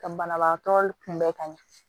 Ka banabagatɔ kunbɛn ka ɲɛ